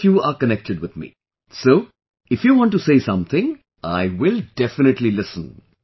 All of you are connected with me, so if you want to say something, I will definitely listen